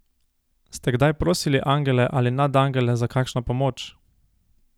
Ste kdaj prosili angele ali nadangele za kakšno pomoč?